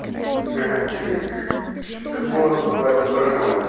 ха-ха этот голос называется паранойя